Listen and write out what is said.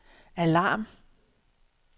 alarm